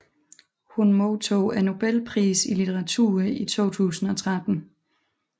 Hun modtog Nobelprisen i litteratur i 2013